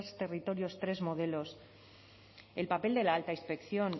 territorios tres modelos el papel de la alta inspección